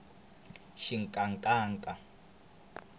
xinkankanka